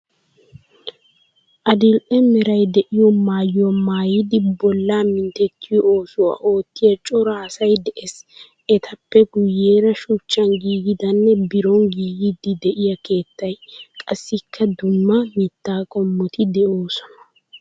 Adil"e meray de'iyo maayuwa maayidi bollaa minttettiyo oosuwa oottiya cora asay de'ees. Etappe kuyeera shuchchaan giigidanne biron giigiiddi de'iya keettay, qassikka dumma mittaa qommoti de'oosona.